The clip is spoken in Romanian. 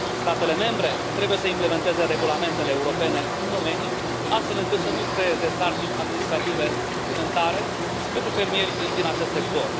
Statele membre trebuie să implementeze regulamentele europene în domeniu, astfel încât să nu creeze sarcini administrative suplimentare pentru fermierii din acest sector.